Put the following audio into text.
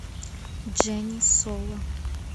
дженни соло